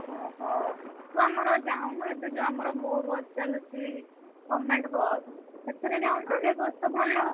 ଓହୋ ତୁ ଆମର ଯାଉନୁ ଏବେ ଯୋଉ ଆମର ମୋ bus ଚାଲୁଚି government ବସ ସେଥେରେ ଯାଉନୁ ସେ ବସ ତ ଭଲ।